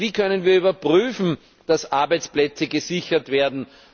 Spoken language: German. Wie können wir überprüfen, dass Arbeitsplätze gesichert werden?